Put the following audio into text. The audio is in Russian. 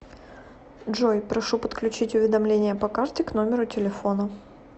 джой прошу подключить уведомление по карте к номеру телефона